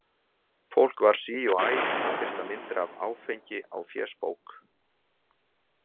Fólk var sí og æ að birta myndir af áfengi á fésbók.